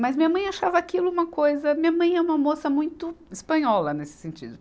Mas minha mãe achava aquilo uma coisa... Minha mãe é uma moça muito espanhola nesse sentido.